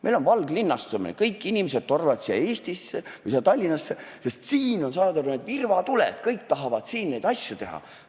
Meil on valglinnastumine, kõik inimesed tormavad Tallinnasse, sest siin on need virvatuled, kõik tahavad siin neid asju teha.